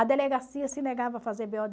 A delegacia se negava a fazer ɓê ó